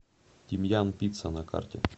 тимьян пицца на карте